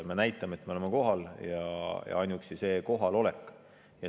Me näitame, et me oleme kohal.